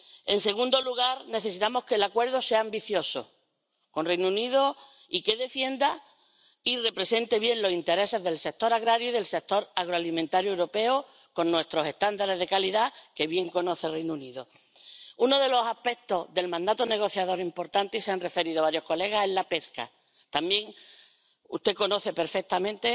En segundo lugar, necesitamos que el acuerdo con el Reino Unido sea ambicioso y que defienda y represente bien los intereses del sector agrario y del sector agroalimentario europeos, con nuestros estándares de calidad, que bien conoce el Reino Unido. Uno de los aspectos importantes del mandato negociador y al que se han referido varias señorías es la pesca. También usted lo conoce perfectamente,